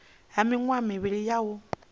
ha miṅwaha mivhili ya u